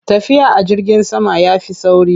Tafiya a jirgin sama ya fi sauri.